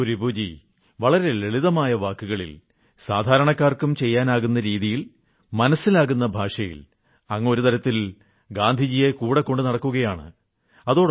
നോക്കൂ രിപുജീ വളരെ ലളിതമായ വാക്കുകളിൽ സാധാരണക്കാർക്കും ചെയ്യാനാകുന്ന രീതിയിൽ മനസ്സിലാകുന്ന ഭാഷയിൽ അങ്ങ് ഒരു തരത്തിൽ ഗാന്ധിജിയെ കൂടെ കൊണ്ടുനടക്കുകയാണ്